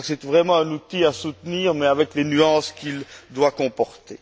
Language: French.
Je crois que c'est vraiment un outil à soutenir, mais avec les nuances qu'il doit comporter.